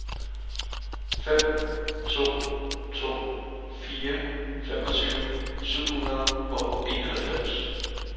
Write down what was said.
fem to to fire femogtyve syv hundrede og enoghalvfjerds